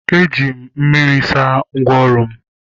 Eji m mmiri saa ngwaọrụ m